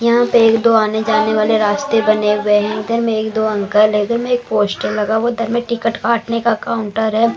यहाँ पे एक दो आने जाने वाले रास्ते बने हुए हैं इधर में एक दो अंकल इधर में एक पोस्टर लगा हुआ इधर में टिकट काटने का काउंटर है।